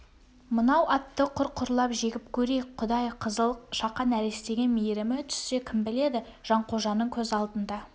мынау атты құр-құрлап жегіп көрейік құдай қызыл шақа нәрестеге мейірімі түссе кім біледі жанқожаның көз алдында